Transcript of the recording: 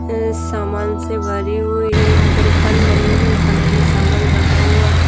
हम्म सामान से भरी हुई है यहाँ पर खान बनी हुई है खानों में सामन रखा हुआ है।